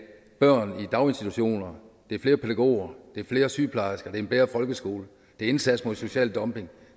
børn i daginstitutioner det er flere pædagoger det er flere sygeplejersker det er en bedre folkeskole det er indsats mod social dumping